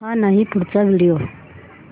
हा नाही पुढचा व्हिडिओ